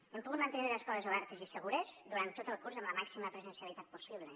hem pogut mantenir les escoles obertes i segures durant tot el curs amb la màxima presencialitat possible